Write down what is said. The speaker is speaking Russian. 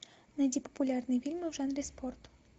найди популярные фильмы в жанре спорт